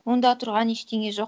онда тұрған ештеңе жоқ